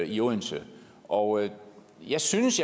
i odense og jeg synes